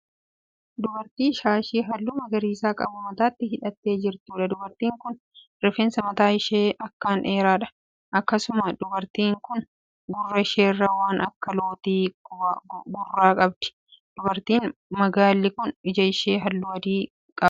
Dubartii shaashii halluu magariisa qabu mataatti hidhattee jirtuudha. Dubartiin kun rifeensi mataa ishee akkan dheeraadha. Akkasumallee dubartiin kun gurra isheerraa waan akka looxii gurraa qabdi. Dubartiin magaallii kun iji ishee halluu adii qaba.